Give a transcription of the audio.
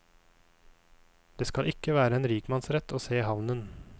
Det skal ikke være en rikmannsrett å se havnen.